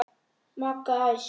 Magga æst.